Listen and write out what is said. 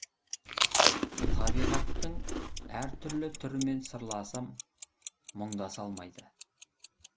табиғаттың әртүрлі түрімен сырласым мұңдаса алмайды